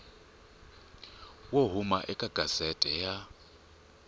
wo huma eka gazette ya